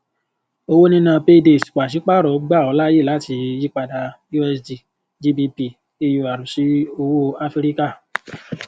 owó níná pay days pàṣípàrọ gbà ọ láyè láti yípadà usd gbp eur sí owó áfíríkà